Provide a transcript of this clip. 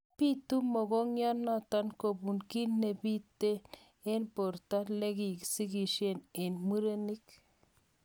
Bitu mogongiat notok kobun ki nepitee eng borto leki sigisyet eng murenik